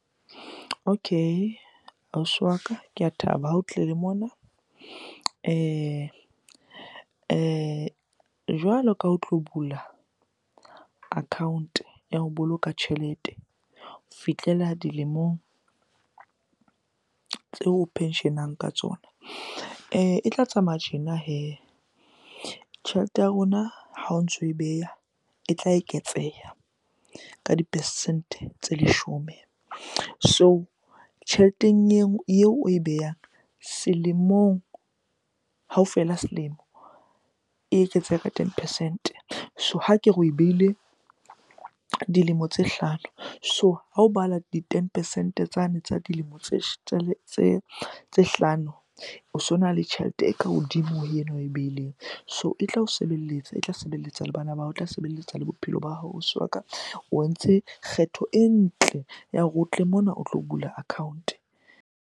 Okay ausi wa ka, ke a thaba ha o tlile mona. Jwalo ka o tlo bula account-e ya ho boloka tjhelete ho fihlella dilemong tseo o pension-ang ka tsona e tla tsamaya tjena hee. Tjhelete ya rona ha o ntso e beha e tla eketseha ka di-percent-e tse leshome. So tjheleteng eo oe behang selemong, ha o fela selemo. E eketseha ka ten percent-e. So ha ke re oe behile dilemo tse hlano, so ha ho balwa di-ten percent-e tsane tsa dilemo tse hlano o sona le tjhelete e ka hodimo ho ena oe beileng. So e tla o sebeletsa, e tla sebeletsa le bana, e tla sebeletsa le bophelo ba hao ausi wa ka. O entse kgetho e ntle ya hore o tle mona o tlo bula account-e.